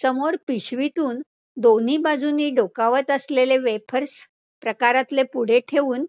समोर पिशवीतून दोन्ही बाजूंनी डोकावतं असलेले wayfarers प्रकारातले पुडे ठेऊन